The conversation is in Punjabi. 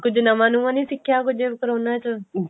ਕੁੱਝ ਨਵਾਂ ਨੁਵਾਂ ਨਹੀਂ ਸਿੱਕਖਿਆ ਕੁੱਝ ਕਰੋਨਾ ਚ